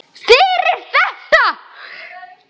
Fyrir þetta.